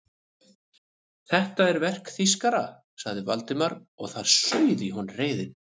Þetta er verk þýskara sagði Valdimar og það sauð í honum reiðin.